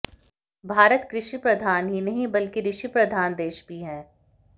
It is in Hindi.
भारत कृषि प्रधान ही नहीं बल्कि ऋषि प्रधान देश भी है